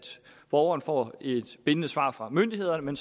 borgeren får et bindende svar fra myndighederne men